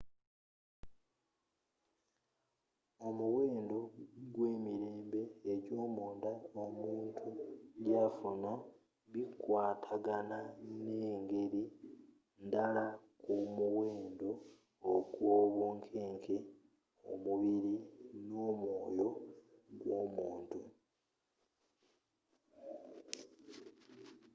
omuwendo gwe emirembe egyomunda omuntu gyafuna bikwatagana mungeri ndala ku muwendo gwobunkeke mumubiri nomwoyo gwomuntu